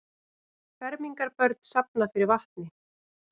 Fermingarbörn safna fyrir vatni